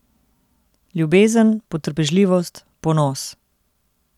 Ljubezen, potrpežljivost, ponos.